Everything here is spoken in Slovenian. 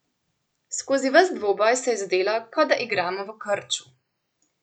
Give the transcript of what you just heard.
Skozi ves dvoboj se je zdelo, kot da igramo v krču.